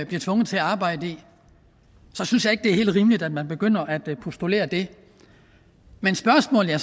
bliver tvunget til at arbejde i så synes jeg ikke det er helt rimeligt at man begynder at postulere det men spørgsmålet